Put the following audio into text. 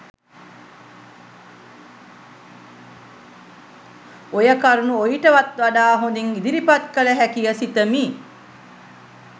ඔය කරුණු ඔයිටත් වඩා හොඳින් ඉදිරිපත් කළ හැකිය සිතමි